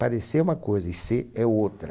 Parecer é uma coisa e ser é outra.